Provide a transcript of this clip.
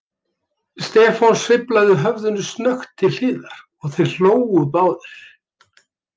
Stefán sveiflaði höfðinu snöggt til hliðar og þeir hlógu báðir.